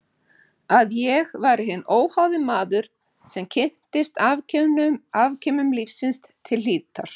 Að ég væri hinn óháði maður sem kynntist afkimum lífsins til hlítar.